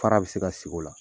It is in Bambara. Fara bi se ka sigi o la.